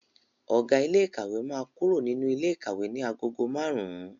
Ọ̀gá ilé ìkàwé máa kúrò nínú ilé ikawe ní agogo márùn-ún.